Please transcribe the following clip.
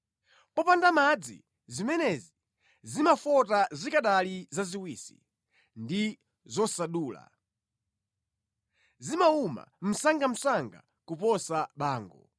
Popanda madzi, zimenezi zimafota zikanali zaziwisi ndi zosadula; zimawuma msangamsanga kuposa bango.